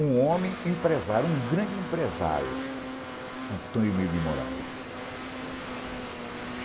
um homem empresário, um grande empresário, Antônio Emilio de Moraes